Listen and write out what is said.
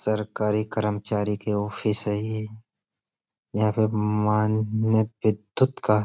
सरकारी करमचारी के ऑफिस है ये। यहाँ पे विद्युत् का --